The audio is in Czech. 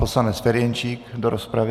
Poslanec Ferjenčík do rozpravy.